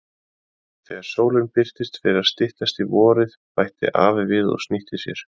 Þegar sólin birtist fer að styttast í vorið bætti afi við og snýtti sér.